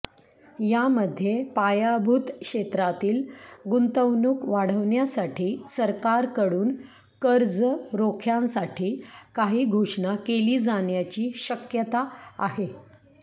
यामध्ये पायाभूत क्षेत्रातील गुंतवणूक वाढवण्यासाठी सरकारकडून कर्ज रोख्यांसाठी काही घोषणा केली जाण्याची शक्यता आहे